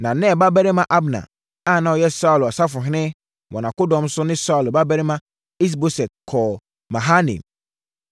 Na Ner babarima Abner a na ɔyɛ Saulo safohene wɔ nʼakodɔm so ne Saulo babarima Is-Boset kɔɔ Mahanaim.